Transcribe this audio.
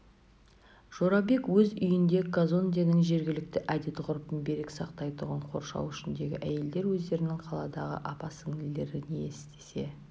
жорабек өз үйінде казонденің жергілікті әдет-ғұрпын берік сақтайтұғын қоршау ішіндегі әйелдер өздерінің қаладағы апа-сіңлілері не істесе